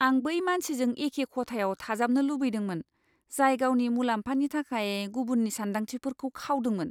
आं बै मानसिजों एखे खथायाव थाजाबनो लुबैदोंमोन, जाय गावनि मुलाम्फानि थाखाय गुबुननि सानदांथिफोरखौ खावदोंमोन!